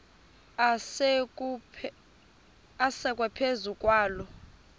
asekwe phezu kwaloo